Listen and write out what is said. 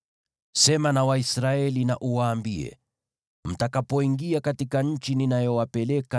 “Sema na Waisraeli na uwaambie: ‘Mtakapoingia katika nchi ninayowapeleka